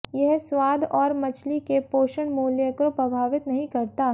यह स्वाद और मछली के पोषण मूल्य को प्रभावित नहीं करता